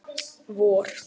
vor